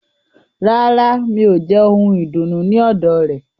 Rárá, mi ò jẹ ohun ìdùnnú ní ọ̀dọ̀ rẹ̀.